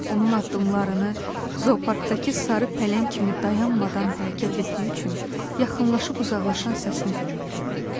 Onun addımlarını zoparkdakı sarı pələng kimi dayanmadan hərəkət etdiyi üçün yaxınlaşıb-uzaqlaşan səsini dinləyirəm.